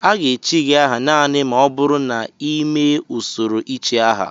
A ga-echi gị aha naanị ma ọ bụrụ na ị mee usoro ichi aha